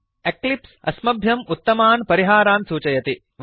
Eclipse अस्मभ्यम् उत्तमान् परिहारान् सूचयति